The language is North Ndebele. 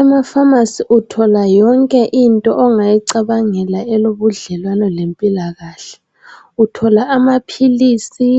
Emafamasi uthola yonke into ongayicabangela elobudlelwana lempilakahke uthola amaphilisi,